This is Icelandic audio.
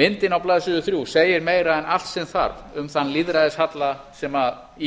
myndin á blaðsíðu þrjú segir meira en allt sem þarf um þann lýðræðishalla sem